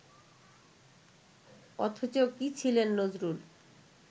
অথচ কী ছিলেন নজরুল